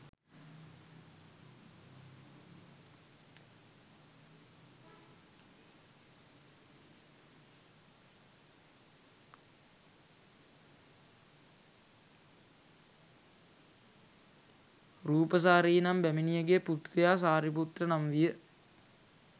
රූපසාරී නම් බැමිනියගේ පුත්‍රයා සාරිපුත්ත නම් විය.